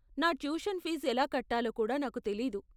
నా tuition fee ఎలా కట్టాలో కూడా నాకు తెలీదు.